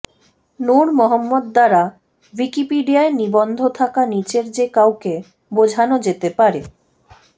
নূর মোহাম্মদ দ্বারা উইকিপিডিয়ায় নিবন্ধ থাকা নিচের যে কাউকে বোঝানো যেতে পারেঃ